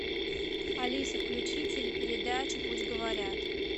алиса включи телепередачу пусть говорят